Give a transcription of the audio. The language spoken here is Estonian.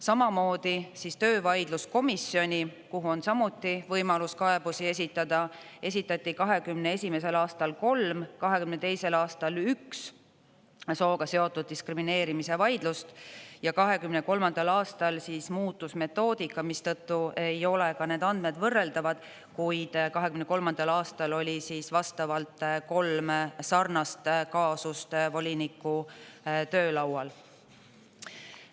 Samamoodi siis töövaidluskomisjoni, kuhu on samuti võimalus kaebusi esitada, esitati 2021. aastal 3, 2022. aastal 1 sooga seotud diskrimineerimise vaidlus ja 2023. aastal muutus metoodika, mistõttu ei ole ka need andmed võrreldavad, kuid 2023. aastal oli vastavalt 3 sarnast kaasust voliniku töölaual.